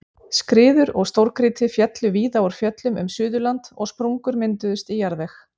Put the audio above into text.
Skriður og stórgrýti féllu víða úr fjöllum um Suðurland og sprungur mynduðust í jarðveg.